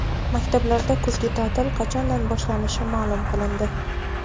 Maktablarda kuzgi ta’til qachondan boshlanishi ma’lum qilindi.